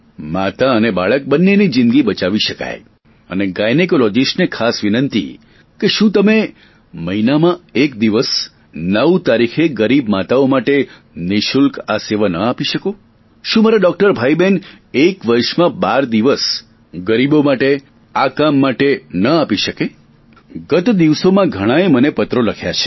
માતા અને બાળક બંનેની જિંદગી બચાવી શકાય અને ગાયનેકોલોજીસ્ટને ખાસ વિનંતી કે શું તમે મહિનામાં એક દિવસ નવ તારીખે ગરીબ માતાઓ માટે નિઃશુલ્ક આ સેવા આપી ન શકો શું મારા ડોકટર ભાઈબહેન એક વર્ષમાં બાર દિવસ ગરીબો માટે આ કામ માટે ન આપી શકે ગત દિવસોમાં મને ઘણાએ પત્રો લખ્યા છે